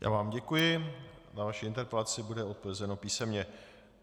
Já vám děkuji, na vaši interpelaci bude odpovězeno písemně.